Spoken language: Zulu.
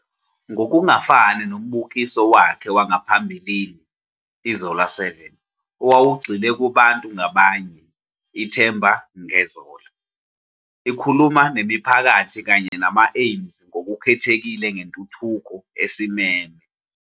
Ngokungafani nombukiso wakhe wangaphambili, "iZola 7", owawugxile kubantu ngabanye, "iThemba ngeZola" ikhuluma nemiphakathi kanye nama-aimes ngokukhethekile ngentuthuko esimeme.